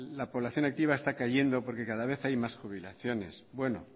la población activa está cayendo porque cada vez hay más jubilaciones bueno